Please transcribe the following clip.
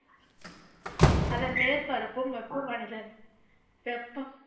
அதன் மேற்பரப்பும் வெப்பமடைதல் வெப்பம்